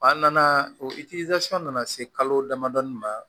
An nana o nana se kalo damadɔ ma